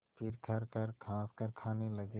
फिर खरखर खाँसकर खाने लगे